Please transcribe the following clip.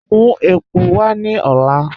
Mú èpò wà ní òlá.